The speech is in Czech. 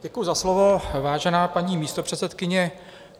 Děkuji za slovo, vážená paní místopředsedkyně.